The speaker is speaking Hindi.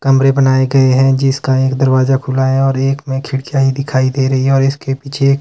कमरे बनाए गये हैं जिसका एक दरवाजा खुला है और एक मे खिड़कियां ही दिखाई दे रही है और इसके पीछे एक--